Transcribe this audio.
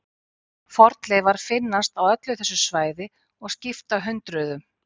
Fornleifar finnast á öllu þessu svæði og skipta hundruðum.